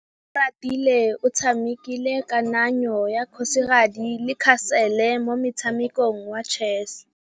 Oratile o tshamekile kananyô ya kgosigadi le khasêlê mo motshamekong wa chess.